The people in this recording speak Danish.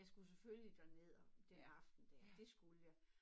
Jeg skulle selvfølgelig derned og den aften dér dét skulle jeg